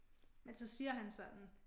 Men så siger han sådan